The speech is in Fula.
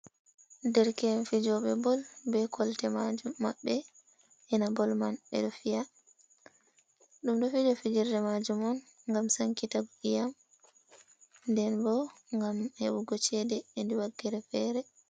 Der ke"en fijoɓe bol, be kolte majum maɓbe ina bol man ɓeɗo fiya, ɗum ɗo fija fijirde majum on, ngam sankitiggo iyam, nden bo ngam hebugo cede hedi wakkere fere.